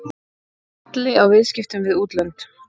Halli á viðskiptum við útlönd